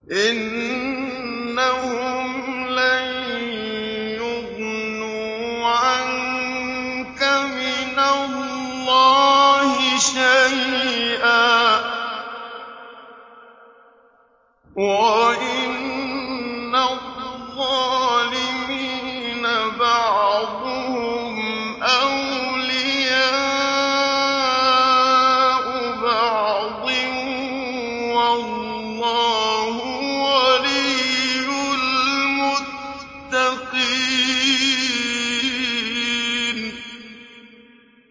إِنَّهُمْ لَن يُغْنُوا عَنكَ مِنَ اللَّهِ شَيْئًا ۚ وَإِنَّ الظَّالِمِينَ بَعْضُهُمْ أَوْلِيَاءُ بَعْضٍ ۖ وَاللَّهُ وَلِيُّ الْمُتَّقِينَ